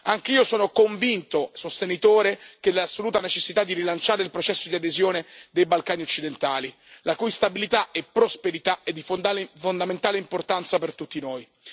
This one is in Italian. Anch'io sono convinto sostenitore dell'assoluta necessità di rilanciare il processo di adesione dei Balcani occidentali, la cui stabilità e prosperità sono di fondamentale importanza per tutti noi.